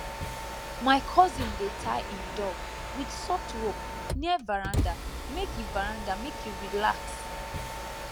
my cousin dey tie him dog with soft rope near veranda make e veranda make e relax